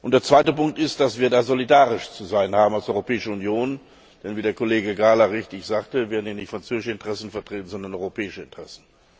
Der zweite Punkt ist, dass wir da solidarisch zu sein haben als Europäische Union, denn wie der Kollege Gahler richtig sagte, werden hier nicht französische Interessen vertreten, sondern europäische Interessen.